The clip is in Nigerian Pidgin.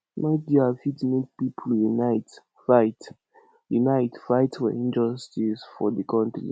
media fit make pipo unite fight unite fight for injustice for di country